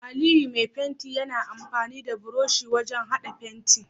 Aliyu Mai fenti Yana amfani da burushi wajan hada fenti